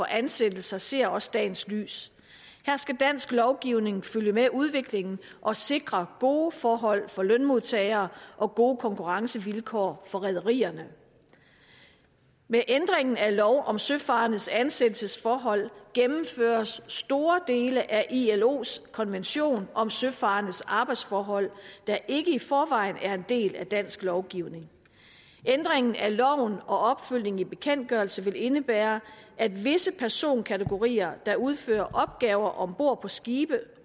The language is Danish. ansættelse ser også dagens lys her skal dansk lovgivning følge med udviklingen og sikre gode forhold for lønmodtagere og gode konkurrencevilkår for rederierne med ændringen af lov om søfarendes ansættelsesforhold gennemføres store dele af ilos konvention om søfarendes arbejdsforhold der ikke i forvejen er en del af dansk lovgivning ændringen af loven og opfølgningen i bekendtgørelse vil indebære at visse personkategorier der udfører opgaver om bord på skibe